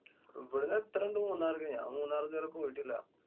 ഇവിടുന്നു എത്ര ഉണ്ട് മൂന്നാർക്ക്? ഞാന്‍ മൂന്നാറ് ഇതുവരെ പോയിട്ടില്ല.